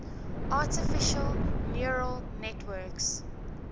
artificial neural networks